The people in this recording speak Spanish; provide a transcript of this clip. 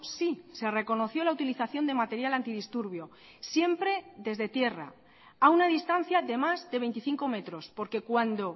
sí se reconoció la utilización de material antidisturbios siempre desde tierra a una distancia de más de veinticinco metros porque cuando